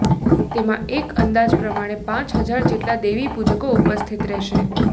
તેમાં એક અંદાજ પ્રમાણે પાંચ હજાર જેટલા દેવીપુજકો ઉપસ્થિત રહેશે